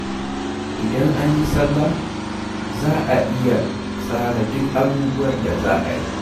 Idan an yi salla, za a iya tsara duk abubuwan da za a yi.